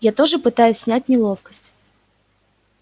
я тоже пытаюсь снять неловкость